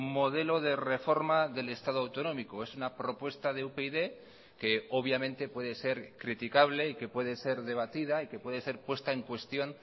modelo de reforma del estado autonómico es una propuesta de upyd que obviamente puede ser criticable y que puede ser debatida y que puede ser puesta en cuestión